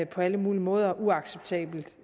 på alle mulige måder er uacceptabelt